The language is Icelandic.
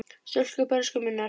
stúlka bernsku minnar.